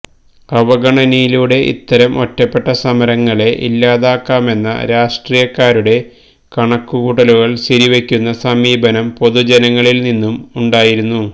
അവഗണനയിലൂടെ ഇത്തരം ഒറ്റപ്പെട്ട സമരങ്ങളെ ഇല്ലാതാക്കാമെന്ന രാഷ്ട്രീയക്കാരുടെ കണക്കു കൂട്ടലുകള് ശരിവയ്ക്കുന്ന സമീപനം പൊതുജനങ്ങളില് നിന്നും ഉണ്ടായിരുന്നു